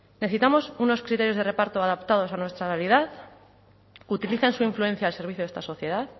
necesitamos unos criterios de reparto adaptados a nuestra realidad utilicen su influencia al servicio de esta sociedad